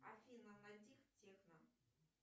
афина найди техно